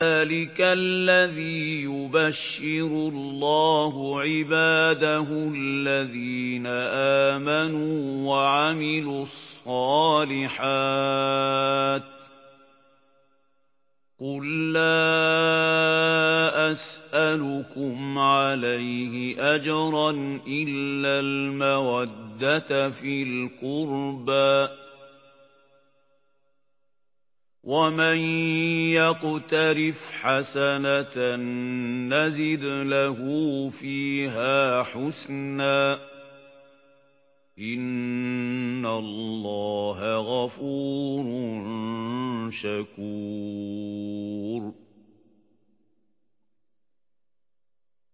ذَٰلِكَ الَّذِي يُبَشِّرُ اللَّهُ عِبَادَهُ الَّذِينَ آمَنُوا وَعَمِلُوا الصَّالِحَاتِ ۗ قُل لَّا أَسْأَلُكُمْ عَلَيْهِ أَجْرًا إِلَّا الْمَوَدَّةَ فِي الْقُرْبَىٰ ۗ وَمَن يَقْتَرِفْ حَسَنَةً نَّزِدْ لَهُ فِيهَا حُسْنًا ۚ إِنَّ اللَّهَ غَفُورٌ شَكُورٌ